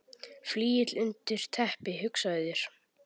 Flygill undir teppi, hugsaðu þér!